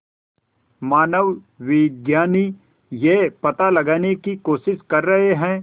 मानवविज्ञानी यह पता लगाने की कोशिश कर रहे हैं